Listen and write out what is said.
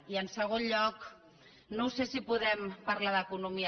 i en segon lloc no ho sé si podem parlar d’economia